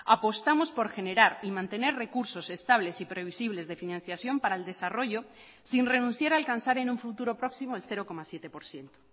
apostamos por generar y mantener recursos estables y previsibles de financiación para el desarrollo sin renunciar a alcanzar en un futuro próximo el cero coma siete por ciento